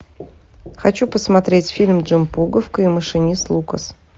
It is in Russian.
хочу посмотреть фильм джон пуговка и машинист лукас